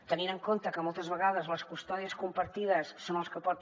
tenint en compte que moltes vegades les custòdies compartides són les que porten